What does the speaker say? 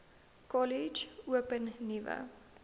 kollege open nuwe